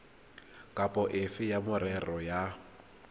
kapa efe ya merero ya